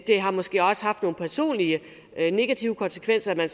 har måske også haft nogle personlige negative konsekvenser at